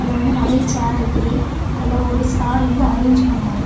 இதுல நிறைய சேர் இருக்குது அதுல ஒரு சார் வந்து அரேஞ்ச் பண்ணியாறு.